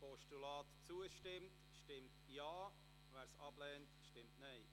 Wer dem Postulat zustimmt, stimmt Ja, wer dieses ablehnt, stimmt Nein.